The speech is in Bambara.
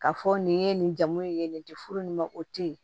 K'a fɔ nin ye nin jamu in ye nin di furu nin ma o tɛ ye